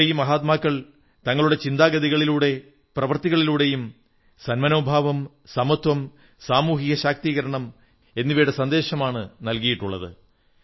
നമ്മുടെ ഈ മഹാത്മാക്കൾ തങ്ങളുടെ ചിന്താഗതികളിലൂടെയും പ്രവൃത്തികളിലൂടെയും സന്മനോഭാവം സമത്വം സാമൂഹിക ശാക്തീകരണം എന്നിവയുടെ സന്ദേശമാണ് നല്കിയിട്ടുള്ളത്